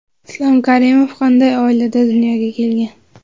Islom Karimov qanday oilada dunyoga kelgan?